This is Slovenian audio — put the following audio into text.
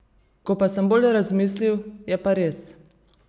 Ko pa sem bolj razmislil, je pa res.